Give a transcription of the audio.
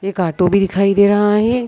एक ऑटो भी दिखाई दे रहा है।